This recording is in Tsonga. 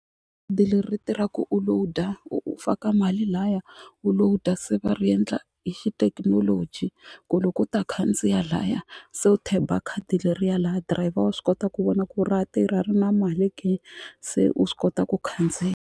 leri tirha ku u load-a u faka mali lahaya u lowuda se va ri endla hi xithekinoloji ku loko u ta khandziya laya se u tap-a khadi leriya laya dirayivha wa swi kota ku vona ku ra tirha ri na mali ke se u swi kota ku khandziya.